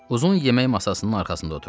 Uzun yemək masasının arxasında oturduq.